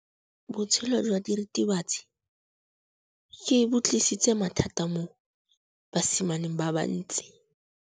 Botshelo jwa diritibatsi ke bo tlisitse mathata mo basimaneng ba bantsi.